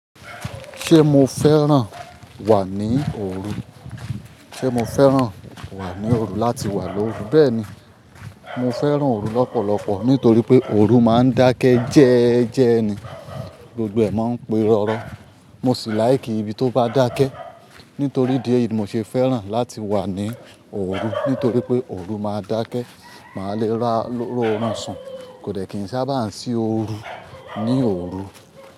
Ṣé mo fẹ́ràn wà ní òru? Ṣé mo fẹ́ràn wà ní òru láti wà lórí? Bẹ́ẹ̀ni, mo fẹ́ràn òru lọ́pọ̀lọpọ̀ nítorí pé òru máa ń dákẹ́ jẹ́ẹ́jẹ́ ni, gbogbo ẹ̀ máa ń pirọrọ. Mo sì láìkí ibi tó bá dákẹ́. Nítorí idí eyìí ni mo ṣe fẹ́ràn láti wà ní òru. Nítorí pé òru máa dákẹ́, màá le ra róọ̀run sùn, kò dẹ̀ kí n sábà ń ṣí òru ní òru.